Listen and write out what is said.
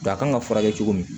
Nka kan ka furakɛ cogo min